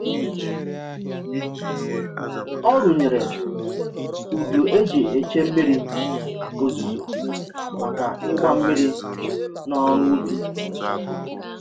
Ọ rụnyere udu e ji eche mmiri ozuzo maka ịgba mmiri na ọrụ ubi